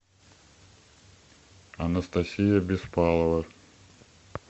анастасия беспалова